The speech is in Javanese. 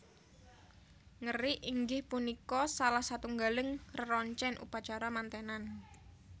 Ngerik inggih punika salah satunggaling reroncen upacara mantenan